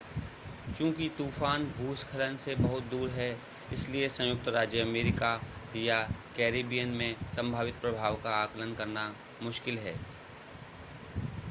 चूंकि तूफ़ान भूस्खलन से बहुत दूर है इसलिए संयुक्त राज्य अमेरिका या कैरिबियन में संभावित प्रभाव का आकलन करना मुश्किल है